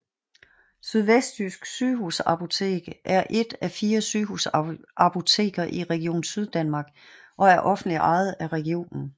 Sydvestjysk Sygehusapotek er et af fire sygehusapoteker i Region Syddanmark og er offentligt ejet af regionen